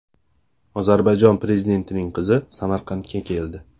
Ozarbayjon prezidentining qizi Samarqandga keldi.